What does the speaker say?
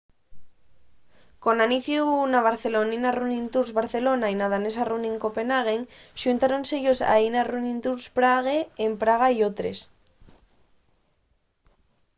con aniciu na barcelonina running tours barcelona y na danesa running copenhagen xuntáronse-yos aína running tours prague en praga y otres